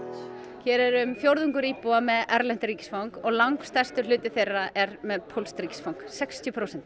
hér er um fjórðungur íbúa með erlent ríkisfang og langstærstur hluti þeirra er með pólskt ríkisfang sextíu prósent